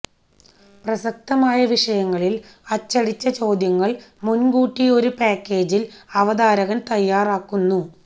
പ്രസക്തമായ വിഷയങ്ങളിൽ അച്ചടിച്ച ചോദ്യങ്ങൾ മുൻകൂട്ടി ഒരു പാക്കേജിൽ അവതാരകൻ തയ്യാറാക്കുന്നു